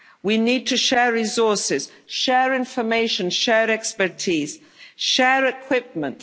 action. We need to share resources, share information, share expertise, share equipment.